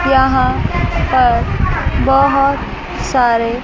यहां पर बहुत सारे--